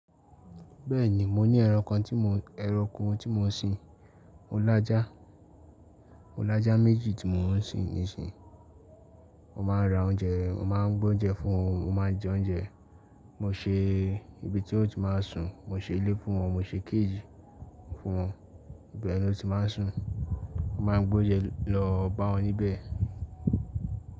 Bẹ́ẹ̀ni, mo ní ẹranko tí mọ, ẹranko tí mò ń sin. Mo lájà, mo lájà méjì tí mò ń sin nísìnyí. Mo máa ra oúnjẹ, mo máa ń gboúnjẹ fún wọn, mo máa ń jẹ oúnjẹ. Mo ṣe ibi tí ó ti máa sùn, mo ṣe ilé fún wọn, mo ṣe kéèjì fún wọn ibi ẹni ó ti máa sùn. Mo máa ń gbé oúnjẹ lọ bá wọn níbẹ̀